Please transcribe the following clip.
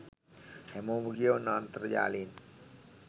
හැමෝම කියවන්න අන්තර්ජාලයෙන්